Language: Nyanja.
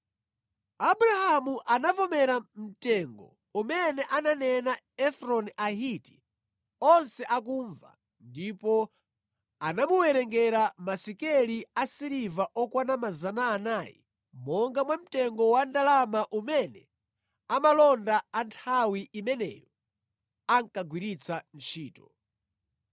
Abrahamu anavomera mtengo umene ananena Efroni Ahiti onse akumva ndipo anamuwerengera masekeli asiliva okwana 400 monga mwa mtengo wa ndalama umene amalonda a nthawi imeneyo ankagwiritsa ntchito.